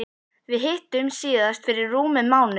Við hittumst síðast fyrir rúmum mánuði.